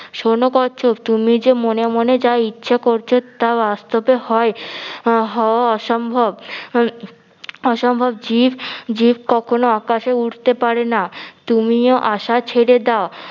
শুনো কচ্ছপ তুমি যে মনে মনে যা ইচ্ছা করছো তা বাস্তবে হয় হওয়া অসম্ভব অসম্ভব জীব জীব কখনো আকাশে উড়তে পারে না। তুমিও আশা ছেড়ে দাও।